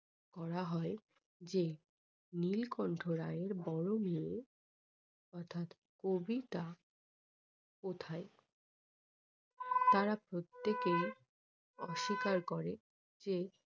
বলা হয় যে নীলকণ্ঠ রায় এর বড়ো মেয়ে অর্থাৎ কবিতা কোথায় তারা প্রত্যেকেই অস্বীকার করে যে